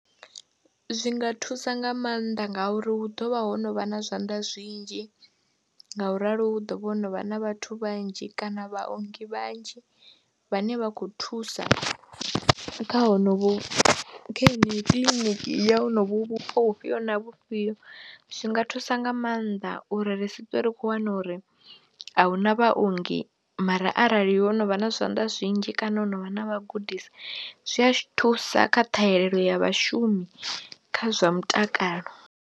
Zwi nga thusa nga maanḓa ngauri hu ḓo vha ho no vha na zwanḓa zwinzhi nga u ralo hu ḓo vha ho no vha na vhathu vhanzhi kana vhaongi vhanzhi vhane vha khou thusa kha honovhu, kha heneyi kiḽiniki ya honovho vhupo vhufhio na vhufhio, zwi nga thusa nga maanḓa uri ri si ṱwi ri khou wana uri a hu na vhaongi mara arali ho no vha na zwanḓa zwinzhi kana ho no vha na vhagudisi zwi a thusa kha ṱhahelelo ya vhashumi kha zwa mutakalo.